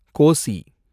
Kosi